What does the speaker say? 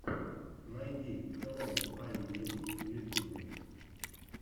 найди хэллоу айм ди эй в ютюбе